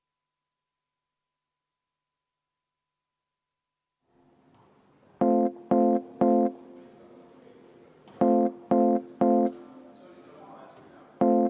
Igatahes, teine ettepanek.